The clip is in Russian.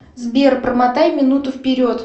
сбер промотай минуту вперед